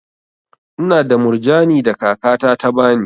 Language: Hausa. Ina da murjani da kaka ta ta bani.